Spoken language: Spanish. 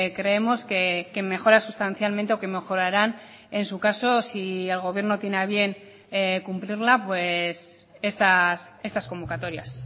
creemos que mejora sustancialmente o que mejorarán en su caso si el gobierno tiene a bien cumplirla pues estas convocatorias